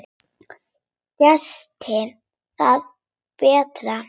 Gerist það betra.